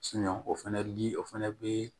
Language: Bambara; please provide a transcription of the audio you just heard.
o fɛnɛ li o fɛnɛ bee